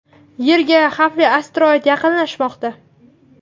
Yerga xavfli asteroid yaqinlashmoqda.